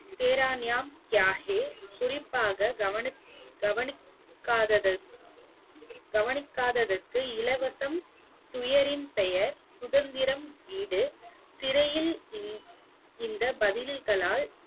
tera naam kya hai குறிப்பாக கவனிக்~ கவனிக்காதது கவனிக்காததற்கு இலவசம் துயரின் பெயர் சுதந்திரம் வீடு சிறையில் இந்~ இந்த பதில்களால்